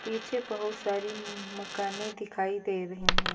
पीछे बहुत सारी मकाने दिखाई दे रहे हैं।